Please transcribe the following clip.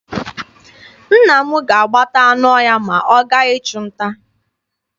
Nna m ga-agbata anụ ọhịa ma ọ gaa ịchụ nta.